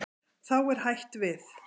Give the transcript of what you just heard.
Þá er hætt við.